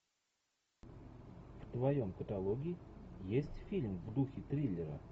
в твоем каталоге есть фильм в духе триллера